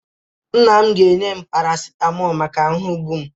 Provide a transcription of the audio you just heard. Nna m ga-enye m parasitamọlụ maka ahụ mgbu m.